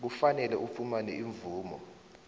kufanele ufumane imvumo